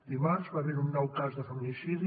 dimarts va haver hi un nou cas de feminicidi